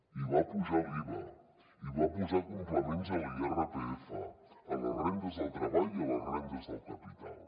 i va apujar l’iva i va posar complements a l’irpf a les rendes del treball i a les rendes del capital